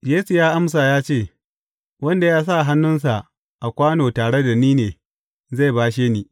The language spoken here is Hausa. Yesu ya amsa ya ce, Wanda ya sa hannunsa a kwano tare da ni ne, zai bashe ni.